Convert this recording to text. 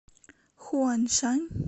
хуаншань